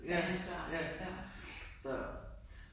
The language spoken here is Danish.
Ja. Ja. Så